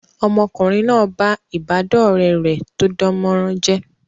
Ọmọkùnrin náà ba ìbádọ́ọ̀rẹ́ rẹ̀ tó dánmọrán jẹ́